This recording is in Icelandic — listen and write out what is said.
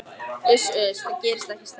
Uss, uss, það gerist ekkert strax.